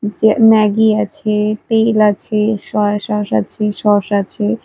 যে ম্যাগি আছে তেল আছে সোয়া সস আছে সস আছে।